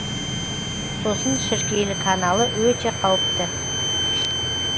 сосын шіркейлі каналы өте қауіпті